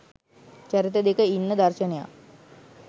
චරිත දෙක ඉන්න දර්ශනයක්.